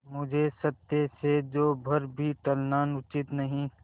मुझे सत्य से जौ भर भी टलना उचित नहीं